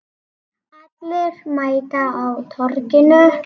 Allir mæta á Torginu